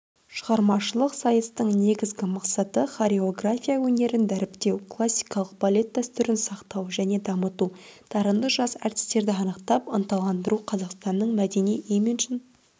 шығармашылық сайыстың негізгі мақсаты хореография өнерін дәріптеу классикалық балет дәстүрін сақтау және дамыту дарынды жас әртістерді анықтап ынталандыру қазақстанның мәдени имиджін